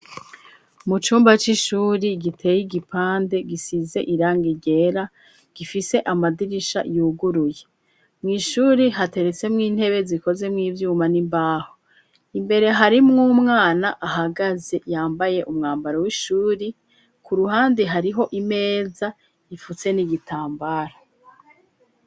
Mu cumba c'ishuri giteye igipande gisize irangi ryera gifise amadirisha yuguruye mw'ishuri hateretse mw'intebe zikoze mu'ibyuma n'imbaho imbere hari mu'umwana ahagaze yambaye umwambaro w'ishuri ku ruhande hariho imeza ifutse n'igitambara.